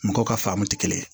Mɔgɔw ka faamuw tɛ kelen ye